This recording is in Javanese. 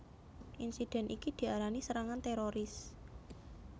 Insidèn iki diarani serangan téroris